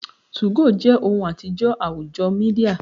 2go je ohun atijọ awujo media